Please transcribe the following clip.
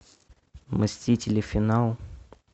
мстители финал